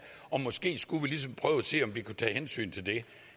og måske skulle vi ligesom prøve at se om vi kunne tage hensyn til det